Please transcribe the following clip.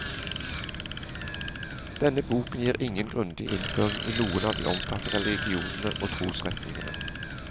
Denne boken gir ingen grundig innføring i noen av de omtalte religionene og trosretningene.